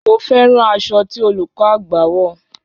Mo fẹ́ràn aṣọ ti olùkọ́ àgba wọ̀